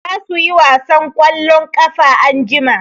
Za su yi wasan ƙwallon ƙafa anjima.